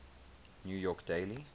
new york daily